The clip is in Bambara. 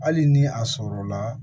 Hali ni a sɔrɔla